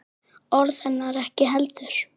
Orð hennar ekki heldur.